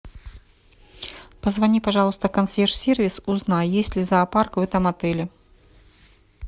позвони пожалуйста в консьерж сервис узнай есть ли зоопарк в этом отеле